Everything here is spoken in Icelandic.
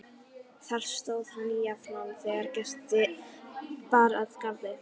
Þar stóð hann jafnan þegar gesti bar að garði.